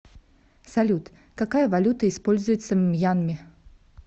салют какая валюта используется в мьянме